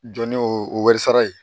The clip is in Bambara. Jɔn ni o wɛrɛ sara ye